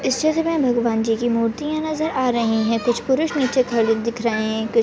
इस चित्र में भगवानजी की मुर्तिया नजर आ रही है कुछ पुरुष निचे खड़े दिख रहे है।